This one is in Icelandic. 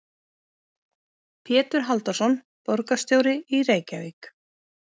Pétur Halldórsson, borgarstjóri í Reykjavík.